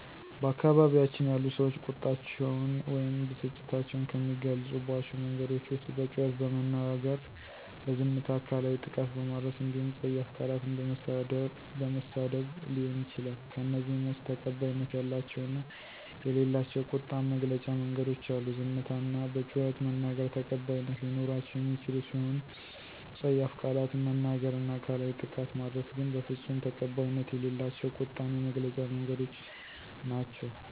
በአካባቢያችን ያሉ ሰዎች ቁጣቸውን ወይም ብስጭታቸውን ከሚገልፁባቸው መንገዶች ዉስጥ በጩኸት በመናገር፣ በዝምታ፣ አካላዊ ጥቃት በማድረስ እንዲሁም ፀያፍ ቃላትን በመሳደብ ሊሆን ይችላል። ከእነዚህም ውስጥ ተቀባይነት ያላቸው እና የሌላቸው ቁጣን መግለጫ መንገዶች አሉ፤ ዝምታ እና በጩኸት መናገር ተቀባይት ሊኖራቸው የሚችሉ ሲሆኑ ፀያፍ ቃላትን መናገር እና አካላዊ ጥቃት ማድረስ ግን በፍፁም ተቀባይነት የሌላቸው ቁጣን የመግለጫ መንገዶች ናቸው።